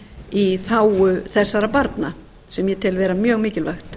í þágu þessara barna sem ég eða vera mjög mikilvægt